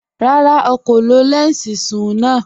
Rárá, à kò lọ lẹnsí sún-un lànà.